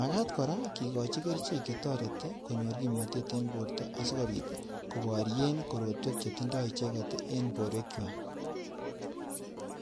Magaat kora kigochi kerichek che toreti konyor kimnatet en borto asikobit koboryen korotwek che tindo icheget en borwekywak.